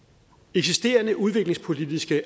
eksisterende udviklingspolitiske